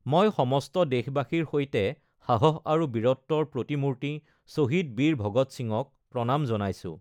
মই সমস্ত দেশবাসীৰ সৈতে সাহস আৰু বীৰত্বৰ প্ৰতিমূৰ্তি শ্বহীদ বীৰ ভগৎ সিঙক প্ৰণাম জনাইছো।